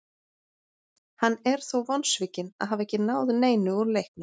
Hann er þó vonsvikinn að hafa ekki náð neinu úr leiknum.